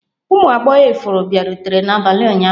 Ụmụ agbọghọ ifuru bịarutere n'abalị ụnyaahụ?